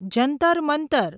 Jantar Mantar